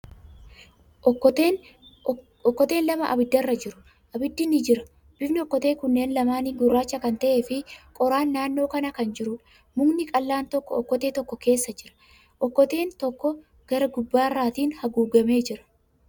Okkoteen lama ibidda irra jiru. Ibiddi ni jira. Bifni okkotee kanneen lamaanii gurraacha kan ta'ee fi qoraan naannoo kana kan jiruudha. Mukni qal'aan tokko okkotee tokko keessa jira. Okkoteen tokko gara gubbarraatin haguugamee jira.